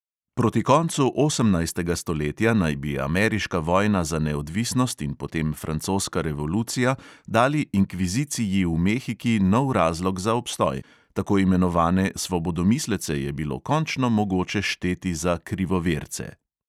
Proti koncu osemnajstega stoletja naj bi ameriška vojna za neodvisnost in potem francoska revolucija dali inkviziciji v mehiki nov razlog za obstoj: tako imenovane svobodomislece je bilo končno mogoče šteti za krivoverce.